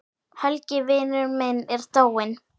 Helgi vinur minn er dáinn.